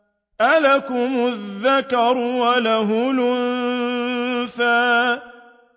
أَلَكُمُ الذَّكَرُ وَلَهُ الْأُنثَىٰ